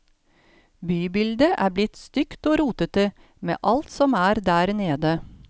Bybildet er blitt stygt og rotete med alt som er der nede.